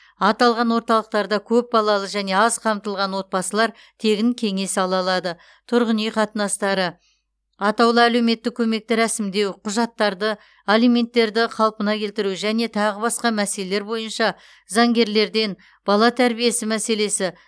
аталған орталықтарда көпбалалы және аз қамтылған отбасылар тегін кеңес ала алады тұрғын үй қатынастары аатаулы әлеуметтік көмекті рәсімдеу құжаттарды алименттерді қалпына келтіру және тағы басқа мәселелер бойынша заңгерлерден бала тәрбиесі мәселесі